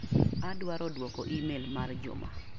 Awaro duoko imel mar Juma.